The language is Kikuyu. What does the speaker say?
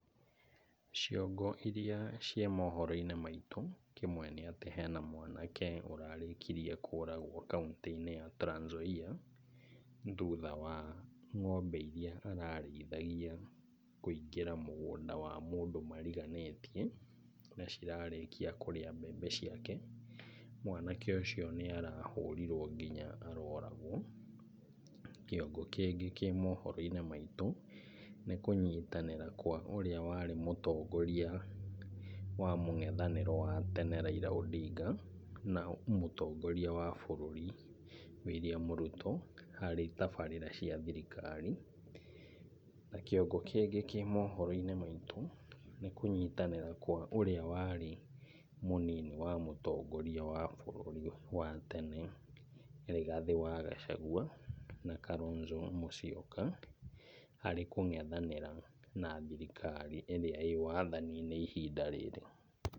Ciongo irĩa ciĩ mohoro-inĩ maitũ, kĩmwe nĩ atĩ, hena mwanake ũrarĩkirie kũragwo kauntĩ-inĩ Trans Nzoia, thutha wa ng'ombe irĩa ararĩithagia kũingĩra mũgũnda wa mũndũ mariganĩtie, na cirarĩkia kũrĩa mbembe ciake. Mwanake ũcio nĩ arahũrirwo nginya aroragwo. Kĩongo kĩngĩ kĩ mohoro-inĩ maitũ, nĩ kũnyitanĩra kwa ũrĩa warĩ mũtongoria wa mũng'ethanĩro wa tene Raila Odinga, na mũtongoria wa bũrũri William Ruto, harĩ tabarĩra cia thirikari. Na kĩongo kĩngĩ kĩ mohoro-inĩ maitũ, nĩ kũnyitanĩra kwa ũrĩa warĩ mũnini wa mũtongoria wa bũrũri, wa tene, nĩwe Rigathi wa Gachagua na Kalonzo Musyoka, harĩ kũng'ethanĩra na thirikari ĩrĩa ĩĩ wathani-inĩ ihinda rĩrĩ.